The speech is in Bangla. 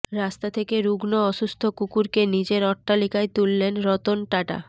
রাস্তা থেকে রুগ্ন অসুস্থ কুকুরকে নিজের অট্টালিকায় তুললেন রতন টাটা